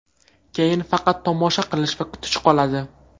Keyin faqat tomosha qilish va kutish qoladi.